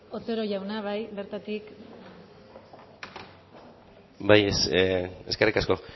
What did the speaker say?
otero jauna bai bertatik bai eskerrik asko